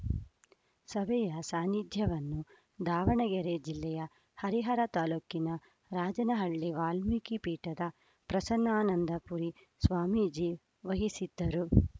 ಸಭೆಯ ಸಾನ್ನಿಧ್ಯವನ್ನು ದಾವಣಗೆರೆ ಜಿಲ್ಲೆಯ ಹರಿಹರ ತಾಲೂಕಿನ ರಾಜನ ಹಳ್ಳಿಯ ವಾಲ್ಮೀಕಿ ಪೀಠದ ಪ್ರಸನ್ನಾನಂದ ಪುರಿ ಸ್ವಾಮೀಜಿ ವಹಿಸಿದ್ದರು